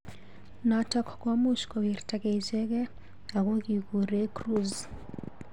Notok komuch kowirtakei ichekei ak ko kikure Cruise.